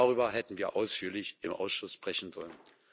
Darüber hätten wir ausführlich im Ausschuss sprechen sollen.